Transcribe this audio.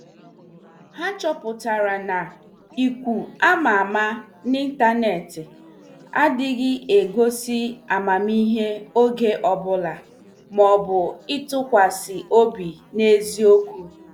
Ha chọpụtara na -iku ama ama n'Ịntanet adịghị egosi amamihe oge ọbụla maọbụ ịtụkwasị obi n'eziokwu.